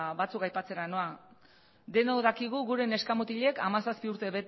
batzuk aipatzera noa denok dakigu gure neska mutilek hamazazpi urte